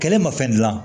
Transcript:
Kɛlɛ ma fɛn dilan